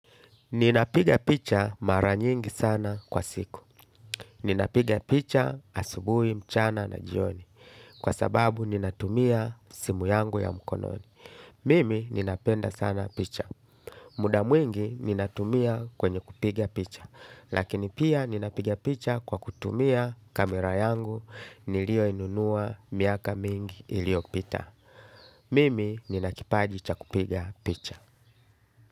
Ninapiga picha maranyingi sana kwa siku. Ninapiga picha asubui, mchana na jioni. Kwa sababu ninatumia simu yangu ya mkononi. Mimi ninapenda sana picha. Muda mwingi ninatumia kwenye kupiga picha. Lakini pia ninapiga picha kwa kutumia kamera yangu nilio inunua miaka mingi ilio pita. Mimi ninakipaji chakupiga picha.